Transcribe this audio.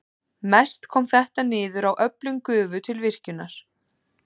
Mest kom þetta niður á öflun gufu til virkjunarinnar.